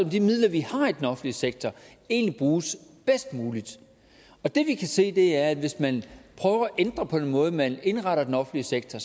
de midler vi har i den offentlige sektor egentlig bruges bedst muligt det vi kan se er at hvis man prøver at ændre på den måde man indretter den offentlige sektor